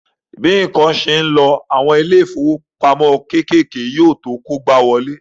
Bí ǹkan ṣe ń lọ, àwọn ilé ìfowópamọ́ kékèké yóò tó kógbáwọlé